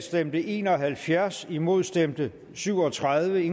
stemte en og halvfjerds imod stemte syv og tredive